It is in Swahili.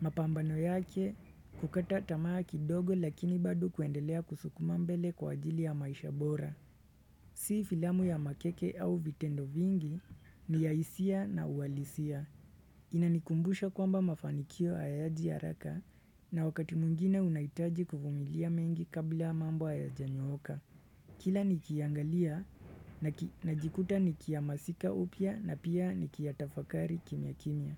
Mapambano yake kukata tamaa kidogo lakini bado kuendelea kusukuma mbele kwa ajili ya maisha bora. Si filamu ya makeke au vitendo vingi ni ya hisia na uhalisia. Inanikumbusha kwamba mafanikio hayaji haraka na wakati mwingine unahitaji kuvumilia mengi kabla mambo hayajanyooka. Kila nikiiangalia najikuta nikihamasika upya na pia nikiyatafakari kimya kimya.